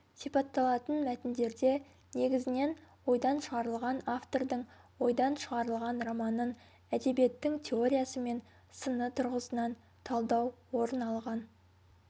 сипатталатын мәтіндерде негізінен ойдан шығарылған автордың ойдан шығарылған романын әдебиеттің теориясы мен сыны тұрғысынан талдау орын алған